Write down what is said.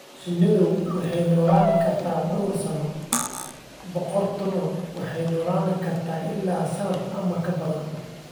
Shinnidu waxay noolaan kartaa dhowr sano, boqoradduna waxay noolaan kartaa ilaa sannado ama ka badan.